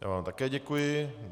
Já vám také děkuji.